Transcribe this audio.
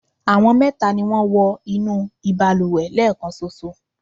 àwọn mẹta ni wọ́n wọ inú ìbalùwẹ̀ lẹ́ẹ̀kanṣoṣo